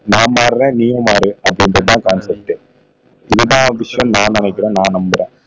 நான் மாறுறன் நீயும் மாறு அது ஒன்னுதான் கான்செப்டே இதுதான் விஷயம்னு நான் நினைக்கிறேன் நான் நம்புறேன்